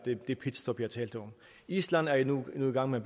det pitstop jeg talte om island er nu nu i gang med